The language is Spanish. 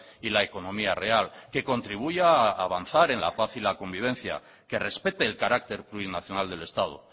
y la economía real que contribuya a avanzar en la paz y la convivencia que respete el carácter plurinacional del estado